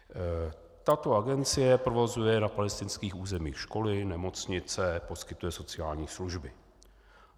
Tato agencie provozuje na palestinských územích školy, nemocnice, poskytuje sociální služby.